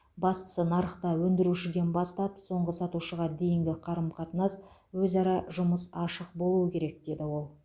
бастысы нарықта өндірушіден бастап соңғы сатушыға дейінгі қарым қатынас өзара жұмыс ашық болуы керек деді ол